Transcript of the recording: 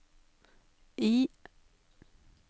I